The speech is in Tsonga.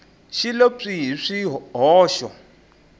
xi lo pyi hi swihoxo